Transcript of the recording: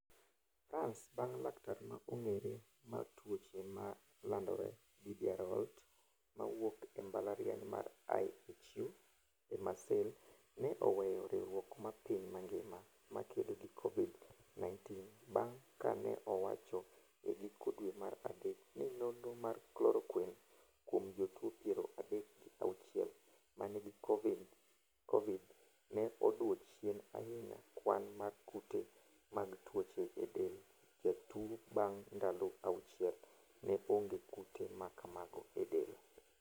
France bang' laktar ma ong'ere mar tuoche ma landore Didier Raoult mawuok e mbalariany mar IHU e Marseille ne oweyo riwruok mar piny mangima mar kedo gi Covid 19 bang' ka ne owacho e giko dwe mar adek ni nonro mar Chloroquine kuom jotuo piero adek gi auchiel ma nigi Covid ne odwoo chien ahinya kwan mar kute mag tuoche e del jatuo bang' ndalo auchiel, ne onge kute ma kamago e del.